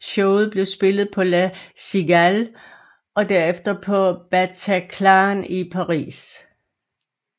Showet blev spillet på La Cigale og derefter på Bataclan i Paris